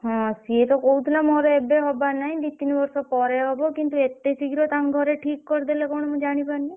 ହଁ ସିଏ ତ କହୁଥିଲା ମୋର ହବାର ନାହିଁ। ଦି ତିନି ବର୍ଷ ପରେ ହବ କିନ୍ତୁ ଏତେ ଶୀଘ୍ର ତାଙ୍କ ଘରେ ଠିକ କରିଦେଲେ କଣ ମୁଁ ଜାଣିପାରୁନି।